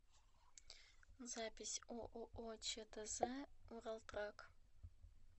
запись ооо чтз уралтрак